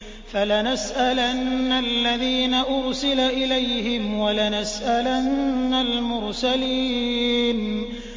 فَلَنَسْأَلَنَّ الَّذِينَ أُرْسِلَ إِلَيْهِمْ وَلَنَسْأَلَنَّ الْمُرْسَلِينَ